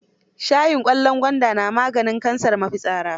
Shayin ƙwallon gwaanda na maganin kansar mafitsara.